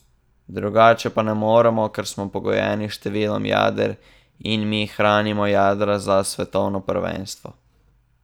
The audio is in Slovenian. Drugače pa ne moremo, ker smo pogojeni s številom jader, in mi hranimo jadra za svetovno prvenstvo.